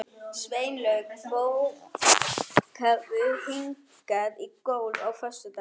Sveinlaug, bókaðu hring í golf á föstudaginn.